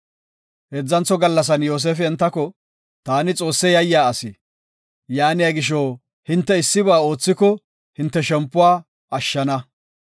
Heedzantho gallasan Yoosefi entako, “Taani Xoosse yayiya asi. Yaaniya gisho, hinte issiba oothiko hinte shempuwa ashshana.